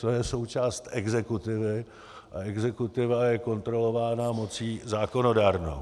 To je součást exekutivy a exekutiva je kontrolována mocí zákonodárnou.